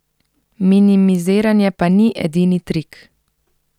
Minimiziranje pa ni edini trik.